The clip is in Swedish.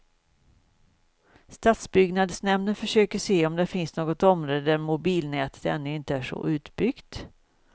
Stadsbyggnadsnämnden försöker se om det finns något område där mobilnätet ännu inte är så utbyggt.